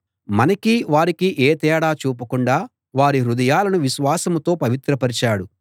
మనకీ వారికీ ఏ తేడా చూపకుండా వారి హృదయాలను విశ్వాసంతో పవిత్రపరచాడు